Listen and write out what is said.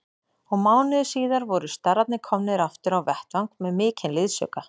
Og mánuði síðar voru starrarnir komnir aftur á vettvang með mikinn liðsauka.